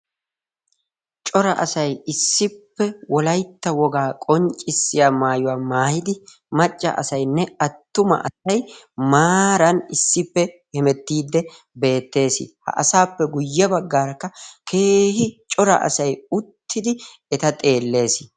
cora asai issippe wolaitta wogaa qonccissiya maayuwaa maayidi macca asainne attuma asai maaran issippe hemettiidde beettees. ha asaappe guyye baggaarakka keehi cora asai uttidi eta xeellees.